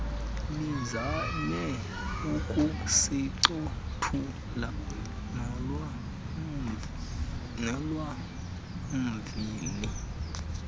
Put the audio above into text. lizame ukusincothula nolwamvila